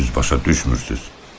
Məni düz başa düşmürsünüz.